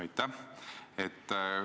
Aitäh!